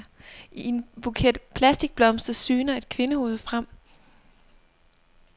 I en buket plastikblomster syner et kvindehoved frem.